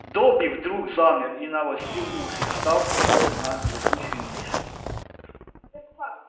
добби вдруг замер и навострил уши став похожим на летучую мышь